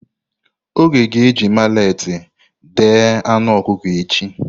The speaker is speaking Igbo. Oge ga-eji maleti deé anu ọkụkọ echi.